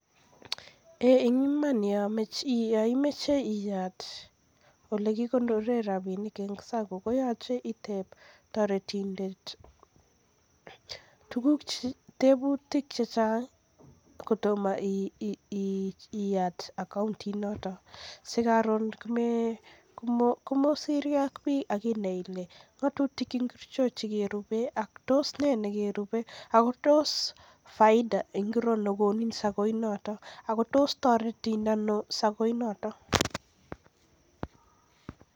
Yoimoche iyat ole kikonoren rapinik notok ko sacco koyoche iteb toretindet tebutik chechang' kotomo iyat account inotok sikorun komosirkei ak biik akinae ile ng'otutik achon chekerube ako tos nei nekerube akotos faida ainon nekonin ak kotoretin sacco inoton.